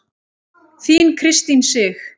Þín Kristín Sig.